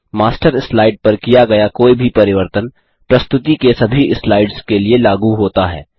master slide पर किया गया कोई भी परिवर्तन प्रस्तुति के सभी स्लाइड्स के लिए लागू होता है